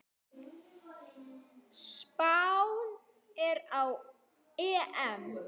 Spánn fer á EM.